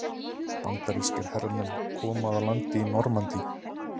Bandarískir hermenn koma að landi í Normandí.